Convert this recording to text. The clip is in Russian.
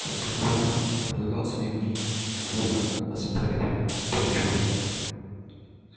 каждый хвастал предлагал свои мнения и свободно оспоривал пугачёва